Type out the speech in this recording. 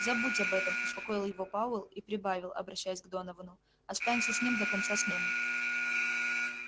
забудь об этом успокоил его пауэлл и прибавил обращаясь к доновану останься с ним до конца смены